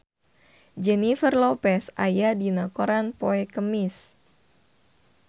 Jennifer Lopez aya dina koran poe Kemis